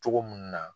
Cogo mun na